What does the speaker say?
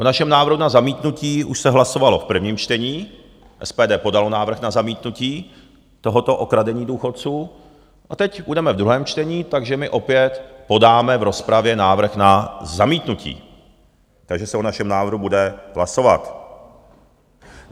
O našem návrhu na zamítnutí už se hlasovalo v prvním čtení, SPD podalo návrh na zamítnutí tohoto okradení důchodců a teď budeme v druhém čtení, takže my opět podáme v rozpravě návrh na zamítnutí, takže se o našem návrhu bude hlasovat.